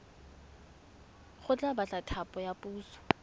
go batla thapo ya puso